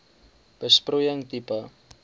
besproeiing tipe